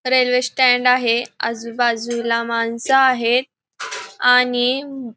railway stand आहे आजूबाजूला माणसं आहेत आणि --